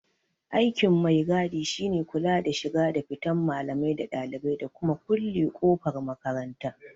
Aikin mai-gadi shine kula da shiga da fitan malamai da ɗalibai, da kuma kulle kofar makaranta.